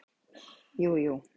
jújú